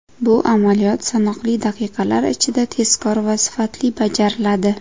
Bu amaliyot sanoqli daqiqalar ichida, tezkor va sifatli bajariladi.